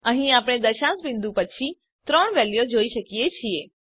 અહીં આપણે દશાંશ બીંદુ પછી ત્રણ વેલ્યુઓ જોઈ શકીએ છીએ